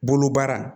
Bolobara